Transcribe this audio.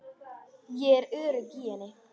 Ég er örugg í henni.